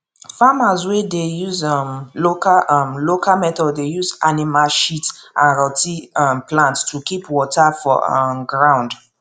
farmers wey dey use um local um local methods dey use animal shit and rot ten um plant to keep water for um ground